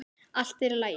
Allt er í lagi.